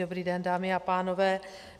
Dobrý den, dámy a pánové.